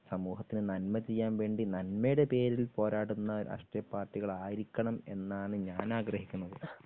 സമൂഹത്തിന് നന്മ ചെയ്യാൻ വേണ്ടി നന്മയുടെ പേരിൽ പോരാടുന്ന രാഷ്ട്രീയ പാർട്ടികളായിരിക്കണം എന്നാണ് ഞാൻ ആഗ്രഹിക്കുന്നത്.